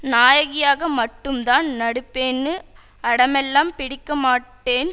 நாயகியாக மட்டும்தான் நடிப்பேன்னு அடமெல்லாம் பிடிக்கமாட்டேன்